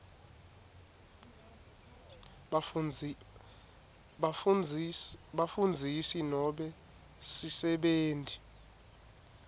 bafundzisi nobe sisebenti